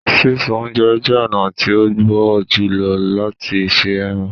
Sísun ọ̀unjẹ jẹ ọ̀na tí o gbó júlọ̀ lati ṣẹ ẹrán